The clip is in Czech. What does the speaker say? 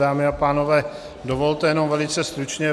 Dámy a pánové, dovolte jenom velice stručně.